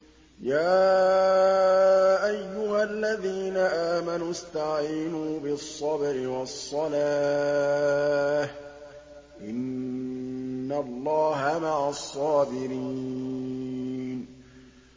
يَا أَيُّهَا الَّذِينَ آمَنُوا اسْتَعِينُوا بِالصَّبْرِ وَالصَّلَاةِ ۚ إِنَّ اللَّهَ مَعَ الصَّابِرِينَ